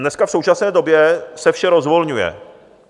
Dneska, v současné době, se vše rozvolňuje.